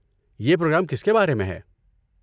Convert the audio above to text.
یہ پروگرام کس کے بارے میں ہے؟